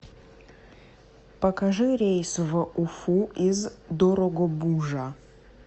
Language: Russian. покажи рейсы в уфу из дорогобужа